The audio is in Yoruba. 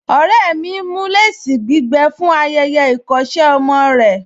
Ọ̀rẹ́ mi ń mú léèsì gbígbẹ fún ayẹyẹ ìkọ́ṣẹ́ ọmọ rẹ̀